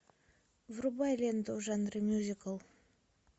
врубай ленту в жанре мюзикл